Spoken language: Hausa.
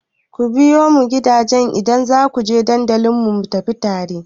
Ku biyo mun gida idan za ku je dandalin mu tafi tare!